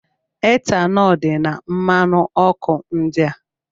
Etanọl dị na mmanụ ọkụ ndị a.